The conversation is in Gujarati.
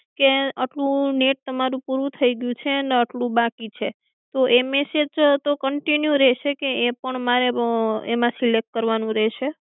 કે અટલું નેટ તમારું પૂરું થઇ ગયું છે ને અટલું બાકી તો મેસેજ તો કન્ટિન્યુ રહેશે કે એપણ મારે એમાં સિલેક્ટ કરવા નું રહેશે